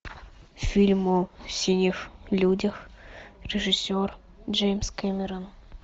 фильм о синих людях режиссер джеймс кэмерон